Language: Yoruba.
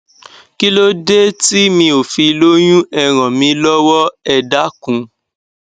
kílódé tí mi ò fi lóyún ẹ ràn mí lọwọ ẹ dákun